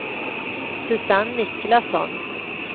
Susanne Niklasson